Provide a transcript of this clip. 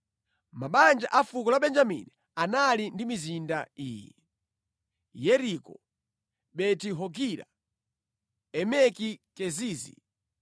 Mabanja a fuko la Benjamini anali ndi mizinda iyi; Yeriko, Beti-Hogila, Emeki Kezizi,